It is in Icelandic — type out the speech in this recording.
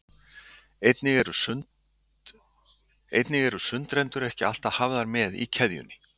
Einnig eru sundrendur ekki alltaf hafðir með í keðjunni.